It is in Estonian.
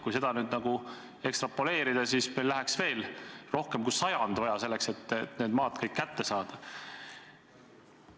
Kui seda ekstrapoleerida, siis kuluks meil rohkem kui sajand, et kõik need maad kätte saada.